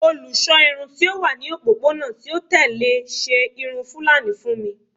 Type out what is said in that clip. Olusọ irun ti o wa ni opopona ti o tẹle ṣe irun fulani fun mi